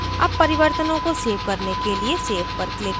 अब परिवर्तनों को सेव करने के लिए save पर click करें